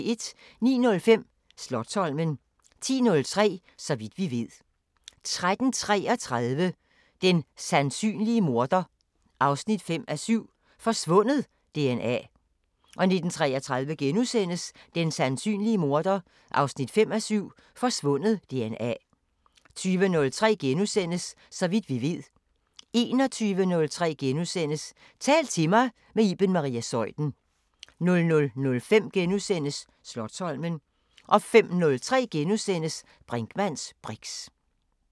09:05: Slotsholmen 10:03: Så vidt vi ved 13:33: Den sandsynlige morder 5:7 – Forsvundet DNA 19:33: Den sandsynlige morder 5:7 – Forsvundet DNA * 20:03: Så vidt vi ved * 21:03: Tal til mig – med Iben Maria Zeuthen * 00:05: Slotsholmen * 05:03: Brinkmanns briks *